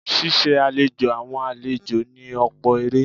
Ṣíṣe àlejò àwọn àlejò ní ọ̀pọ̀ èrè.